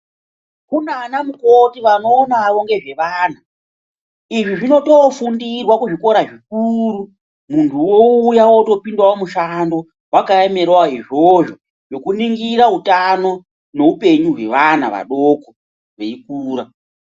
Kunanamukoti vanonawo nezvevana izvi zvinotofundirwa kuzvikora zvikuru munhu wouya wotopindawo mushando wakaemerawo izvozvo zvokuningira utano neupenyu hweana adoko veikura.